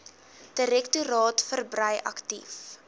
direktoraat verbrei aktief